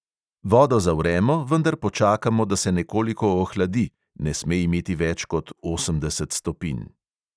Vodo zavremo, vendar počakamo, da se nekoliko ohladi (ne sme imeti več kot osemdeset stopinj).